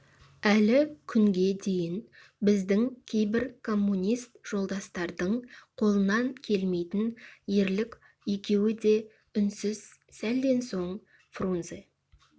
әлі күнге дейін біздің кейбір коммунист жолдастардың қолынан келмейтін ерлік екеуі де үнсіз сәлден соң фрунзе